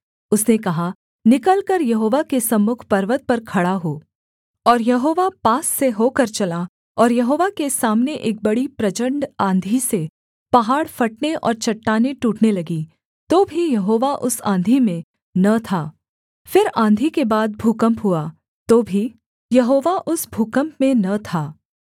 उसने कहा निकलकर यहोवा के सम्मुख पर्वत पर खड़ा हो और यहोवा पास से होकर चला और यहोवा के सामने एक बड़ी प्रचण्ड आँधी से पहाड़ फटने और चट्टानें टूटने लगीं तो भी यहोवा उस आँधी में न था फिर आँधी के बाद भूकम्प हुआ तो भी यहोवा उस भूकम्प में न था